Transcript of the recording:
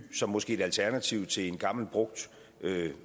som måske et alternativ til en gammel brugt